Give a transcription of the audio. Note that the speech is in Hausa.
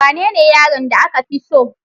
Wanene yaron da aka fi so?